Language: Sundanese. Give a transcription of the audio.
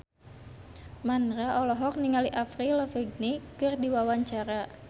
Mandra olohok ningali Avril Lavigne keur diwawancara